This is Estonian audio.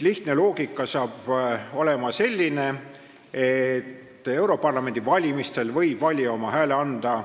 Lihtne loogika hakkab olema selline, et europarlamendi valimisel võib valija oma hääle anda